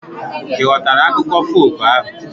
Ị ghọtara akụkọ folk ahu